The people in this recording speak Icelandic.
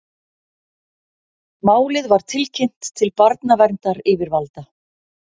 Málið var tilkynnt til barnaverndaryfirvalda